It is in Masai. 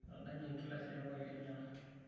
Edanaye enkilasi toonkaik enyana.